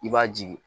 I b'a jigi